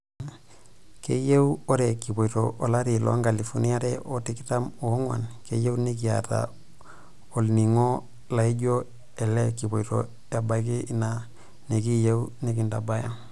"Keyieu oree kipoito olari loo nkalifuni aare o tikitam oonguan kiyieu nekiaata olning'o laaijo ele kipoito abaaki ina nekiyieu nikintabaya."